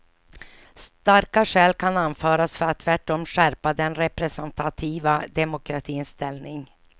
Starka skäl kan anföras för att tvärtom skärpa den representativa demokratins ställning.